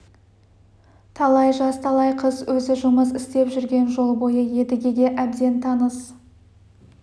талай жаз талай қыс өзі жұмыс істеп жүрген жол бойы едігеге әбден таныс